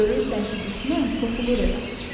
Görürsən ki, düşmən soxulur evə.